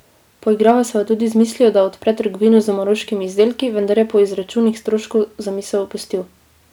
Poigraval se je tudi z mislijo, da odpre trgovino z maroškimi izdelki, vendar je po izračunih stroškov zamisel opustil.